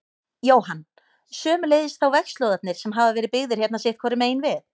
Jóhann: Sömuleiðis þá vegslóðarnir sem hafa verið byggðir hérna sitthvoru megin við?